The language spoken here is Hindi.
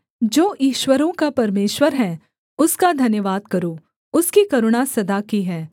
जो ईश्वरों का परमेश्वर है उसका धन्यवाद करो उसकी करुणा सदा की है